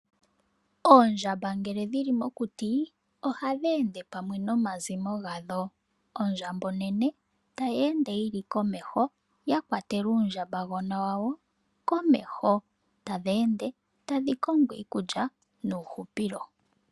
Oondjamba ngele dhi li mokuti, ohadhi ende pamwe nomazimo gadho. Ondjamba onene, tayi ende yi li komeho, yakwatela uundjambagona wayo komeho, tadhi ende tadhi kongo iikulya, nuuhupilo.